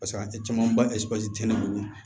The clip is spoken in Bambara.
Paseke a caman ba tɛ ne bolo